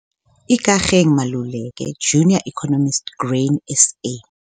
Ikageng Maluleke, Junior Economist, Grain SA.